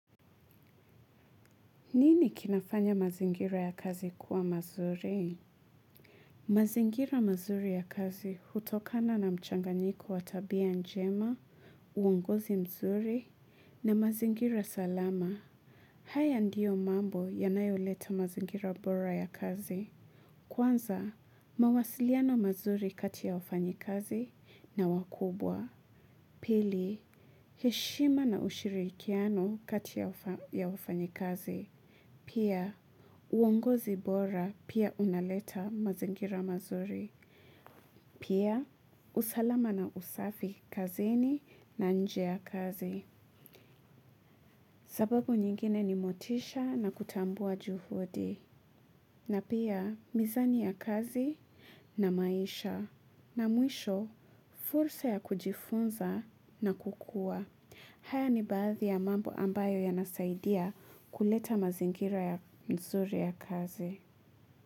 Nini kinafanya mazingira ya kazi kuwa mazuri? Mazingira mazuri ya kazi hutokana na mchanganyiko wa tabia njema, uongozi mzuri na mazingira salama. Haya ndio mambo yanayoleta mazingira bora ya kazi. Kwanza, mawasiliano mazuri kati ya ufanyi kazi na wakubwa. Pili, heshima na ushirikiano kati ya ufanyi kazi. Pia, uongozi bora pia unaleta mazingira mazuri. Pia, usalama na usafi kazini na nje ya kazi. Sababu nyingine ni motisha na kutambua juhudi. Na pia, mizani ya kazi na maisha. Na mwisho, fursa ya kujifunza na kukua. Haya ni baadhi ya mambo ambayo yanasaidia kuleta mazingira mzuri ya kazi.